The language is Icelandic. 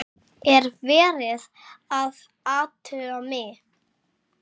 Er verið að athuga mig?